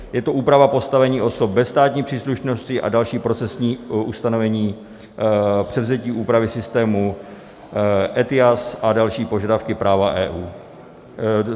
Je to úprava postavení osob bez státní příslušnosti a další procesní ustanovení, převzetí úpravy systému ETIAS a další požadavky práva EU.